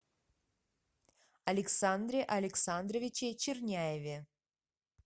александре александровиче черняеве